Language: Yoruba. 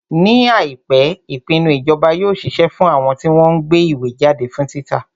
Ní àìpé, àwọn ìpinnu ìjọba yóò ṣiṣẹ́ fún àwọn tí wọ́n ń gbé ìwé jáde fún títa.